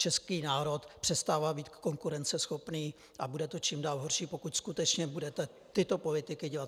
Český národ přestává být konkurenceschopný a bude to čím dál horší, pokud skutečně budete tyto politiky dělat.